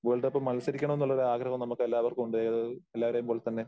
World കപ്പിൽ മത്സരിക്കണം എന്നുള്ള ഒരു ആഗ്രഹവും നമുക്ക് എല്ലാവർക്കും ഉണ്ട്. അത് എല്ലാവരെ പോലെത്തന്നെ